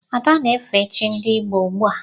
Ada na-efe chi ndị Igbo ugbua.